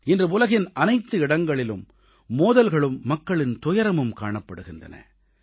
இன்று உலகின் அனைத்து இடங்களிலும் மோதல்களும் மக்களின் துயரமும் காணப்படுகின்றன